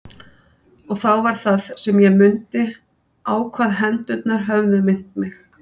Og þá var það sem ég mundi á hvað hendurnar höfðu minnt mig.